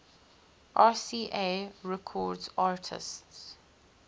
rca records artists